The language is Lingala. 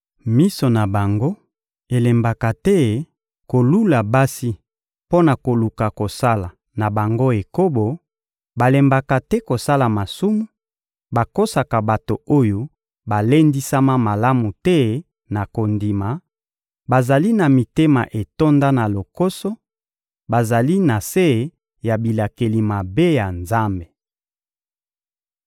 Miso na bango elembaka te kolula basi mpo na koluka kosala na bango ekobo, balembaka te kosala masumu, bakosaka bato oyo balendisama malamu te na kondima; bazali na mitema etonda na lokoso: bazali na se ya bilakeli mabe ya Nzambe.